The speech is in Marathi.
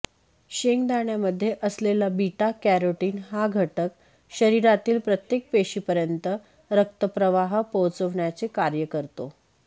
शेंगदाण्यामध्ये असलेला बीटा कॅरोटीन हा घटक शरीरातील प्रत्येक पेशीपर्यंत रक्तप्रवाह पोहचवण्याचे कार्य करतो